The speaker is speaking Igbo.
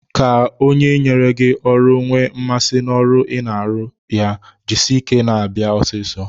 Ka onye nyere gị ọrụ nwee mmasị n'ọrụ ị na-arụrụ ya, jisie ike na-abịa ọsịsọ.